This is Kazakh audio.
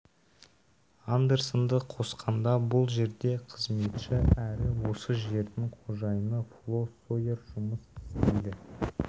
андерсонды қосқанда бұл жерде қызметші әрі осы жердің қожайыны фло сойер жұмыс істейді